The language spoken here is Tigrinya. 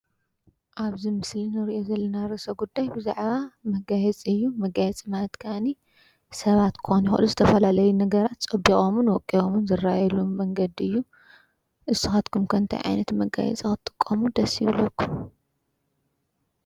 ኣብዚ ምስሊ እንሪኦ ዘለና ርእሰ ጉዳይ ብዛዕባ መጋየፂ እዩ። መጋየፂ ከኣ ሰባት ክኮኑ ይክእሉ ዝተፈላለዩ ነገራት ፀቢቆምን ወቂቦምን ዝረኣየሉ መንገዲ እዩ። ንስካትኩም ከ እንታይ ዓይነት መጋየፂ ክትጥቀሙ ደስ ይብለኩም ።